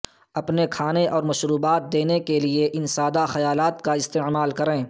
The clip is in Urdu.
اپنے کھانے اور مشروبات دینے کے لئے ان سادہ خیالات کا استعمال کریں